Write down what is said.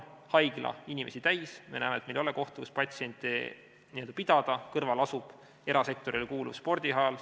Haigla on inimesi täis, me näeme, et meil ei ole kohta, kus patsiente n-ö pidada, aga kõrval asub erasektorile kuuluv spordisaal.